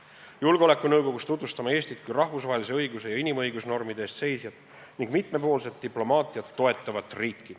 Julgeolekunõukogus tutvustame Eestit kui rahvusvahelise õiguse ja inimõiguste normide eest seisjat ning mitmepoolset diplomaatiat toetavat riiki.